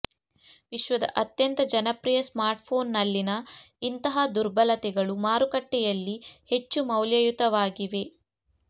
ವಿಶ್ವದ ಅತ್ಯಂತ ಜನಪ್ರಿಯ ಸ್ಮಾರ್ಟ್ಫೋನ್ನಲ್ಲಿನ ಇಂತಹ ದುರ್ಬಲತೆಗಳು ಮಾರುಕಟ್ಟೆಯಲ್ಲಿ ಹೆಚ್ಚು ಮೌಲ್ಯಯುತವಾಗಿವೆ